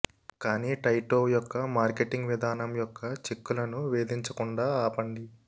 కానీ టాయ్టోవ్ యొక్క మార్కెటింగ్ విధానం యొక్క చిక్కులను వేధించకుండా ఆపండి